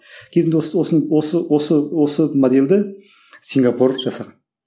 кезінде осы осы осы осы модельді сингапур жасаған